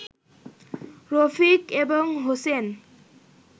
রফিক এবং হোসেন